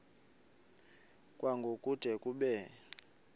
kwango kude kube